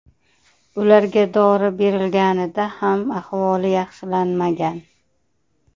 Ularga dori berilganida ham ahvoli yaxshilanmagan.